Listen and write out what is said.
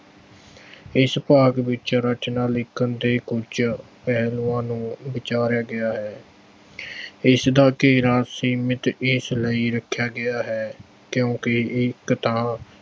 ਇਸ ਭਾਗ ਵਿੱਚ ਰਚਨਾ ਲਿਖਣ ਦੇ ਕੁੱਝ ਪਹਿਲੂਆਂ ਨੂੰ ਵਿਚਾਰਿਆ ਗਿਆ ਹੈ। ਇਸ ਦਾ ਘੇਰਾ ਸੀਮਿਤ ਇਸ ਲਈ ਰੱਖਿਆ ਗਿਆ ਹੈ ਕਿਉਂਕਿ ਇਹ ਇੱਕ ਤਾਂ